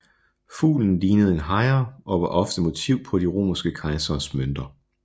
Fuglen lignede en hejre og var ofte motiv på de romerske kejseres mønter